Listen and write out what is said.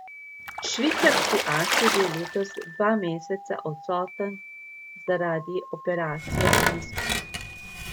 Švicarski as je bil letos dva meseca odsoten zaradi operacije meniskusa.